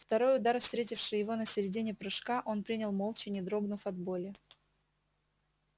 второй удар встретивший его на середине прыжка он принял молча не дрогнув от боли